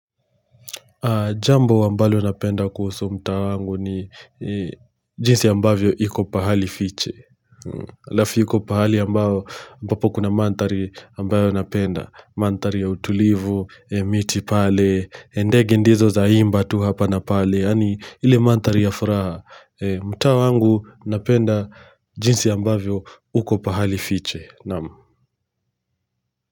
Jambo ambalo napenda kuhusu mtaa wangu ni jinsi ambavyo iko pahali fiche. Alafu iko pahali ambapo kuna mandhari ambayo napenda. Mandhari ya utulivu, miti pale, ndege ndizo zaimba tu hapa na pale. Yaani ile mandhari ya furaha. Mtaa wangu napenda jinsi ambavyo uko pahali fiche.